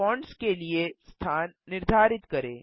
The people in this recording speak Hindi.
फ़ॉन्ट्स के लिए स्थान निर्धारित करें